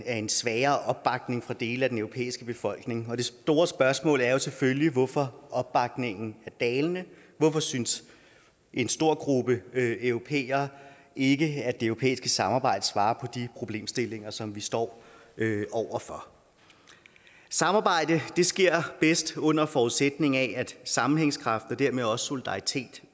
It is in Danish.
af en svagere opbakning fra dele af den europæiske befolkning og det store spørgsmål er jo selvfølgelig hvorfor opbakningen er dalende hvorfor synes en stor gruppe europæere ikke at det europæiske samarbejde svarer på de problemstillinger som vi står over for samarbejde sker bedst under forudsætning af at sammenhængskraft og dermed også solidaritet